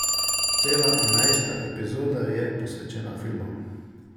Cela enajsta epizoda je posvečena filmu.